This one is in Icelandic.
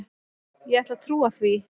Ég ætla að trúa því.